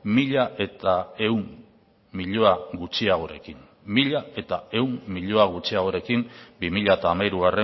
mila ehun milioi gutxiagorekin bi mila hamairu